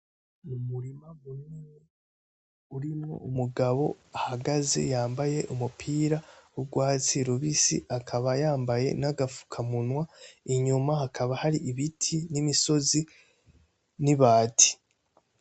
Umurima munini urimwo umugabo ahagaze yambaye umupira w'urwatsi rubisi, akaba yambaye n'agafukamunwa, inyuma hakaba hari ibiti n'imisozi n'ibati.